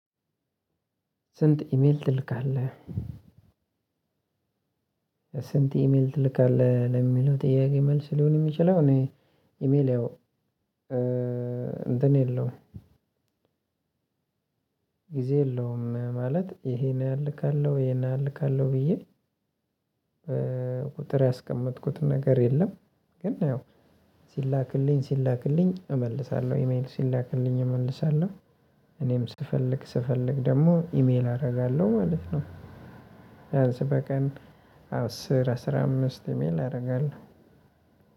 ስንት ኢሜል ትልካለህ? ስንት ኢሜል ትልካለህ ለሚለው ጥያቄ መልስ ሊሆን የሚችለው እኔ ኢሜል ያው እንትን የለውም። ጊዜ የለውም ማለት ይሄን ያህል እልካለሁ ይሄን ያህል እልካለሁ ብዬ ቁጥር ያስቀመጥኩት ነገር የለም። ግን ያው ሲላክልኝ ሲላክልኝ እመልሳለሁ ኢሜል ሲላክልኝ እመልሳለሁ። እኔም ስፈልግ ስፈልግ ደግሞ ኢሜል አደርጋለሁ ማለት ነው። ቢያንስ በቀን አስር አስራ አምስት ኢሜል አደርጋለሁ።